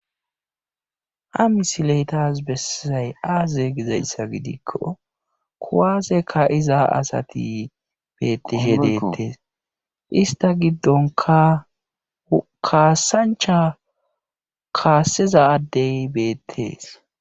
Ha misile tas besizay aaze gizayssa gidiko kuwaase ka'iza asati beetishe deetees ista gidokka kaasancha kaasiza adde dey beetees.